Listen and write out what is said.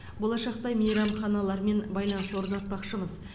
болашақта мейрамханалармен байланыс орнатпақшымыз